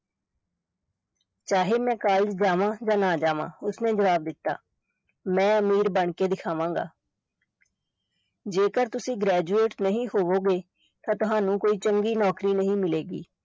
ਚਾਹੇ ਮੈਂ college ਜਾਵਾਂ ਜਾਂ ਨਾ ਜਾਵਾਂ ਉਸਨੇ ਜਵਾਬ ਦਿੱਤਾ, ਮੈਂ ਅਮੀਰ ਬਣਕੇ ਦਿਖਾਵਾਂਗਾ ਜੇਕਰ ਤੁਸੀਂ graduate ਨਹੀਂ ਹੋਵੋਗੇ ਤਾਂ ਤੁਹਾਨੂੰ ਕੋਈ ਚੰਗੀ ਨੌਕਰੀ ਨਹੀਂ ਮਿਲੇਗੀ।